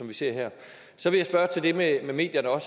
vi ser her så vil jeg til det med medierne er